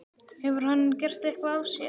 Hefur hann gert eitthvað af sér?